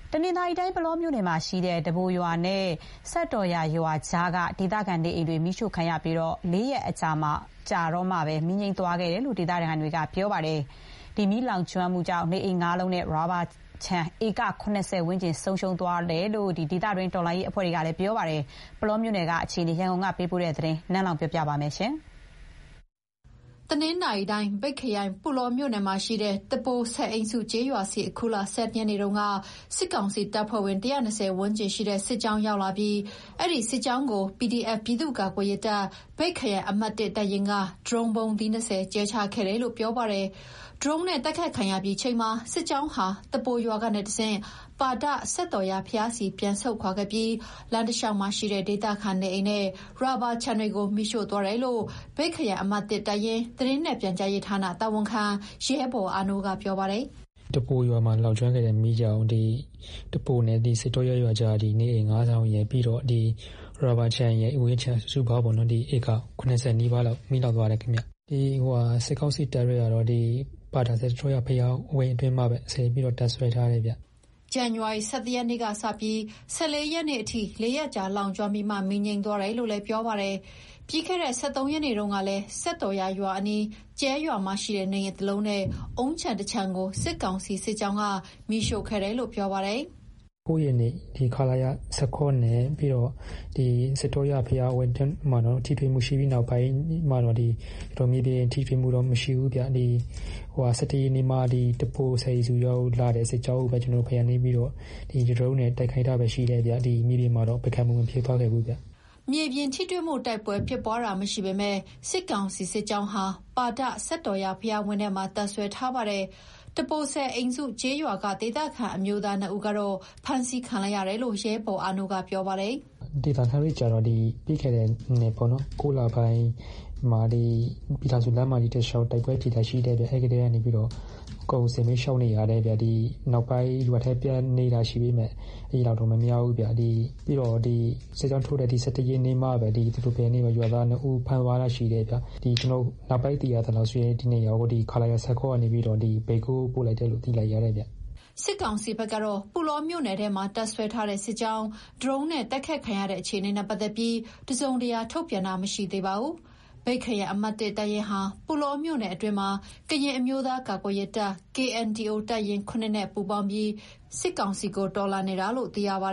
တနင်္သာရီတိုင်း၊ ပုလောမြို့နယ်မှာရှိတဲ့ တပိုရွာနဲ့ စက်တော်ရာရွာကြားက ဒေသခံနေအိမ်တွေ မီးရှို့ခံရပြီး ၄ ရက်ကြာမှ မီးငြိမ်းသွားတယ်လို့ ဒေသခံတွေက ပြောပါတယ်။ မီးလောင်ကျွမ်းမှုကြောင့် နေအိမ် ၅လုံးနဲ့ ရာဘာခြံဧက ၇၀ ဝန်းကျင် ဆုံးရှုံးသွားတယ်လို့ ဒေသတွင်းတော်လှန်ရေးဘက်က ပြောပါတယ်။ ပုလောမြို့နယ်က အခြေအနေ ရန်ကုန်ကနေ သတင်းပေးပို့ထားတာကိုပြောပြမှာပါ။ တနင်္သာရီတိုင်း၊ မြိတ်ခရိုင်၊ ပုလောမြို့နယ်မှာရှိတဲ့ တပိုဆယ်အိမ်စုကျေးရွာဆီ အခုလ ၁၁ ရက်နေ့တုန်းက စစ်ကောင်စီတပ်ဖွဲ့ဝင် ၁၂၀ ဝန်းကျင်ရှိတဲ့ စစ်ကြောင်းရောက်လာပြီး၊ အဲဒီစစ်ကြောင်းကို PDF ပြည်သူ့ကာကွယ်ရေးတပ် မြိတ်ခရိုင်အမှတ် ၁ တပ်ရင်းက ဒရုန်းဗုံးသီး ၂၀ ကြဲချခဲ့တယ်လို့ ပြောပါတယ်။ ဒရုန်းနဲ့တိုက်ခိုက် ခံရပြီးချိန်မှာ စစ်ကြောင်းဟာ တပိုရွာကနေတဆင့် ပါဒ စက်တော်ရာဘုရားဆီ ပြန်ဆုတ်ခွာခဲ့ပြီး လမ်းတလျှောက်မှာရှိတဲ့ ဒေသခံနေအိမ်နဲ့ ရာဘာခြံတွေကို မီးရှို့သွားတယ်လို့ မြိတ်ခရိုင်အမှတ် ၁ တပ်ရင်း၊ သတင်းနဲ့ပြန်ကြားရေးဌာန တာဝန်ခံ ရဲဘော်အာနိုးက ပြောပါတယ်။ "တပိုရွာမှာ လောင်ကျွမ်းခဲ့တဲ့မီးကြောင့် တပိုရွာနဲ့ စက်တော်ရာရွာကြားက နေအိမ် ၅ဆောင်ရယ်၊ ရာဘာဝင်းခြံ စုစုပေါင်းဧက ၇၀ နီးပါးလောက် မီးလောင်သွားတယ်ခင်ဗျ။ စစ်ကောင်စီတပ်တွေကတော့ ပါဒစက်တော်ရာ ဘုရားဝင်းအတွင်းမှာပဲ ဆက်ပြီးတော့ တပ်စွဲထားတယ်ဗျ။" ဇန်နဝါရီလ ၁၁ ရက်နေ့ကစပြီး ဒီကနေ့ ၁၄ ရက်နေ့အထိ ၄ရက်ကြာ လောင်ကျွမ်းပြီးမှ မီးငြိမ်းသွားတယ်လို့ ပြောပါတယ်။ ပြီးခဲ့တဲ့ ၁၃ ရက်နေ့တုန်းကလည်း စက်တော်ရာရွာအနီးက ကြဲရွာမှာရှိတဲ့ နေအိမ်တလုံးနဲ့ အုန်းခြံတခြံကို စစ်ကောင်စီစစ်ကြောင်းက မီးရှို့ခဲ့တယ်လို့ ပြောပါတယ်။ "၉ ရက်နေ့တုန်းက ခလရ ၁၇ နဲ့ စက်တော်ရာဘုရားဝင်း အတွင်းမှာတော့ ထိတွေ့မှုရှိပြီးနောက်ပိုင်း မြေပြင်ထိတွေ့မှုတော့ မရှိဘူးဗျ။ ၁၁ ရက်နေ့မှ တပိုနဲ့ စက်တော်ရာကိုလာတဲ့ စစ်ကြောင်းကိုပဲ ကျနော်တို့ပြန်နင်းပြီးတော့ ဒရုန်းနဲ့ တိုက်ခိုက်တာပဲရှိတယ်ဗျ။ မြေပြင်မှာတော့ ပစ်ခတ်မှု မဖြစ်သွားခဲ့ဘူးဗျ။" မြေပြင်ထိတွေ့မှု တိုက်ပွဲဖြစ်ပွားတာ မရှိပေမယ့် စစ်ကောင်စီစစ်ကြောင်းဟာ ပါဒစက်တော်ရာ ဘုရားဝင်းထဲမှာ တပ်စွဲထားပါတယ်။ တပိုဆယ်အိမ်စု ကျေးရွာက ဒေသခံ အမျိုးသား ၂ ဦးကတော့ ဖမ်းဆီးခံလိုက်ရတယ်လို့ ရဲဘော်အာနိုးက ပြောပါတယ်။ "ဒေသခံတွေကျတော့ ပြီးခဲ့တဲ့နှစ် ၉လပိုင်းမှာ ပြည်ထောင်စုလမ်းမကြီးတလျှောက် တိုက်ပွဲဖြစ်တာရှိတဲ့အတွက် အဲဒီကတည်းက အကုန်စစ်ဘေးရှောင်နေရတယ်ဗျ။ နောက်ပိုင်း ရွာထဲပြန်နေတာရှိပေမယ့် အဲလောက်တော့မများဘူးဗျ။ စစ်ကြောင်းထိုးတဲ့ ဒီလ ၁၁ ရက်နေ့မှာပဲ ရွာသား ၂ဦးကို သူတို့ဖမ်းသွားတာ ရှိတယ်ဗျ။ နောက်ပိုင်း သိရသလောက်ဆိုရင် ဒီ ၂ယောက်ကို ခလရ ၁၇ ကနေပြီးတော့ မြိတ်ကိုပို့လိုက်တယ်လို့ သိလိုက်ရတယ်ဗျ။" စစ်ကောင်စီဘက်ကတော့ ပုလောမြို့နယ်ထဲမှာ တပ်စွဲထားတဲ့စစ်ကြောင်း ဒရုန်းနဲ့တိုက်ခိုက်ခံရတဲ့ အခြေအနေနဲ့ပတ်သက်ပြီး တစုံတရာထုတ်ပြန်ထားတာ မရှိသေးပါဘူး။ မြိတ်ခရိုင်အမှတ် ၁ တပ်ရင်းဟာ ပုလောမြို့နယ်အတွင်းမှာ ကရင်အမျိုးသားကာကွယ်ရေးတပ် KNDO တပ်ရင်း ၇ နဲ့ ပူးပေါင်းပြီး စစ်ကောင်စီကို တော်လှန်နေတာလို့ သိရပါ